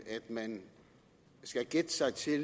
at man skal gætte sig til